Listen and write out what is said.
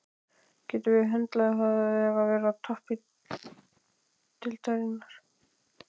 Getum við höndlað það að vera á toppi deildarinnar?